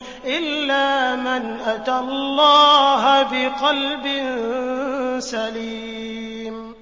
إِلَّا مَنْ أَتَى اللَّهَ بِقَلْبٍ سَلِيمٍ